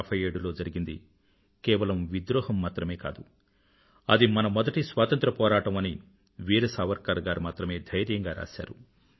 1857లో జరిగినది కేవలం విద్రోహం మాత్రమే కాదు అది మన మొదటి స్వాతంత్ర పోరాటం అని వీర సావర్కర్ గారు మాత్రమే ధైర్యంగా రాశారు